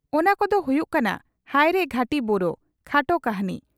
ᱚᱱᱟ ᱠᱚ ᱫᱚ ᱦᱩᱭᱩᱜ ᱠᱟᱱᱟ ᱺᱼ ᱦᱟᱭᱨᱮ ᱜᱷᱟᱹᱴᱤ ᱵᱳᱨᱳ (ᱠᱷᱟᱴᱚ ᱠᱟᱹᱦᱱᱤ)